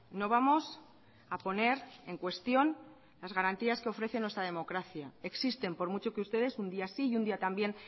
no vamos a poner en cuestión las garantías que ofrece nuestra democracia existen por mucho que ustedes un día sí y un día también